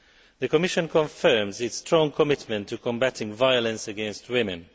The Commission confirms its strong commitment to combating violence against women.